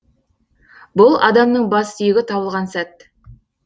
бұл адамның бас сүйегі табылған сәт